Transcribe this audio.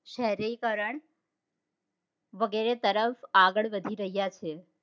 શહેરીકરણ વગેરે તરફ આગળ વધી રહ્યા છીએ